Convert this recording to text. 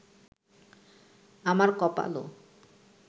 আমার কপালও